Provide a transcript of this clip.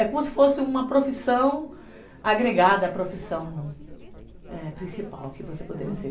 É como se fosse uma profissão agregada à profissão principal que você poderia ser.